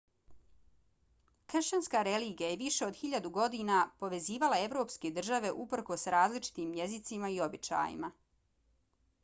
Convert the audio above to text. kršćanska religija je više od hiljadu godina povezivala evropske države uprkos različitim jezicima i običajima